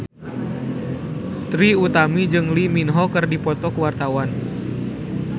Trie Utami jeung Lee Min Ho keur dipoto ku wartawan